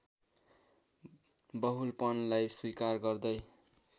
बहुलपनलाई स्वीकार गर्दै